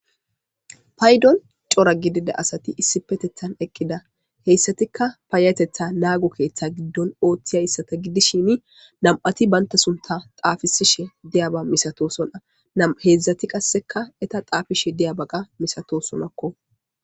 Paydon cora gidida asati issipetethan eqida haysatika payatetha naago keetha gidon oothizaysata gidishin nam'ati banta suntha xaafisishe diyaba milatoosona hezhati qaseka eeta xaafishe diyaba milatosonako.